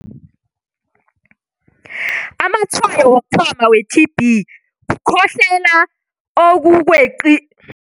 Amatshwayo wokuthoma we-T_B kukhohlela okukweqi